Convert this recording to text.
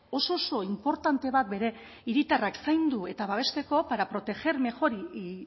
oso oso inportante bat bere hiritarrak zaindu eta babesteko para proteger mejor y y